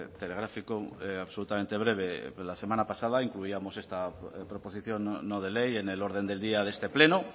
telegráfico absolutamente breve la semana pasada incluíamos esta proposición no de ley en el orden del día de este pleno